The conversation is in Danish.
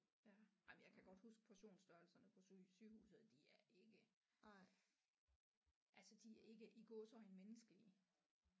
Ja jamen jeg kan godt huske portionsstørrelserne på syge sygehuset de er ikke altså de er ikke i gåseøjne menneskelige